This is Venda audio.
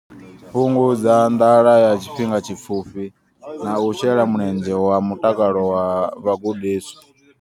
Fhungudza nḓala ya tshifhinga tshipfufhi na u shela mulenzhe kha mutakalo wa vhagudiswa.